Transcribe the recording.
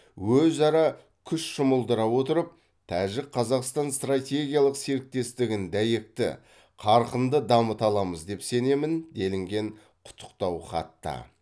өзара күш жұмылдыра отырып тәжік қазақстан стратегиялық серіктестігін дәйекті қарқынды дамыта аламыз деп сенемін делінген құттықтау хатта